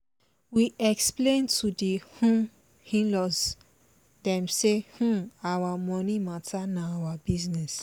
we explain to the um in-laws dem say um our money matter na our business